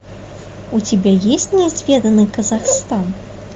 у тебя есть неизведанный казахстан